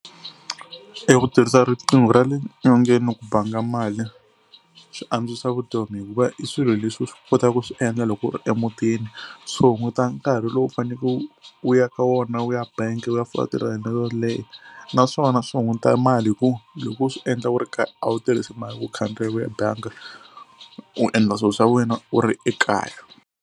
E ku tirhisa riqingho ra le nyongeni ku banga mali swi antswisa vutomi hikuva i swilo leswi u swi kotaka ku swi endla loko ri emutini. Swi hunguta nkarhi lowu u faneke u ya ka wona u ya bangi u ya fola tilayini leto leha naswona swi hunguta mali hi ku loko u swi endla u ri kaya a wu tirhisi mali ku khandziya u ya bangi u endla swilo swa wena u ri ekaya.